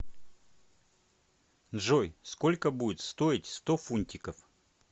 джой сколько будет стоить сто фунтиков